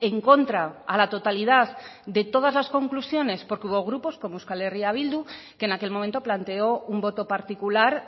en contra a la totalidad de todas las conclusiones porque hubo grupos como euskal herria bildu que en aquel momento planteó un voto particular